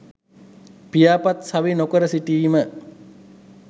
පියාපත් සවි නොකර සිටීම